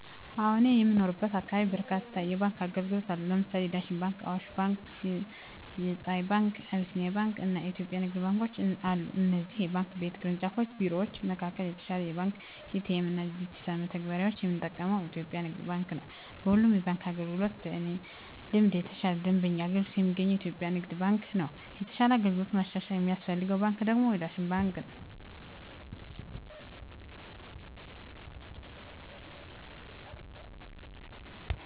አወ እኔ በምኖርበት አካባቢ በርካታ የባንክ አገልግሎት አሉ ለምሳሌ የዳሽን ባንክ :አዋሽ ባንክ :የፀሀይ ባንክ : የአቢሲኒያ ባንክ አና የኢትዮጵያ ንግድ ባንኮች አሉ ከእነዚህ የባንክ ቤት ቅርንጫፍ ቢሮወች መካከል የተሻለ የባንክ ኤ.ቲ.ኤ.ም እና ዲጅታል መተግበሪያወችን የምጠቀመው በኢትዮጵያ የንግድ ባንክ ነው። በሁሉም የባንክ አገልግሎቶች በእኔ ልምድ የተሻለ የደንበኞች አገልግሎት የሚገኘው በኢትዮጵያ ንግድ ባንክ ነው የተሻለ አገልግሎት ማሻሻያ የሚያስፈልገው ባንክ ደግሞ የዳሽን ባንክ ነው።